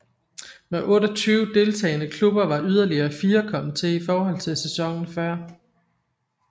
Med 28 deltagende klubber var yderligere fire kommet til i forhold til sæsonen før